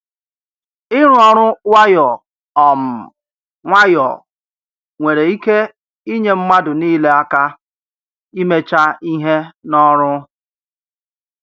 Ịrụ ọrụ nwayọ um nwayọ nwere ike inyé mmadụ niile aka imecha ihe n’ọrụ.